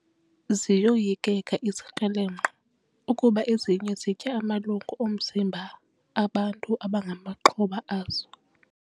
Ziyoyikeka izikrelemnqa ukuba ezinye zitya amalungu omzimba bantu abangamaxhoba azo.